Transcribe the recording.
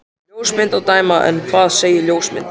Af ljósmynd að dæma. en hvað segja ljósmyndir?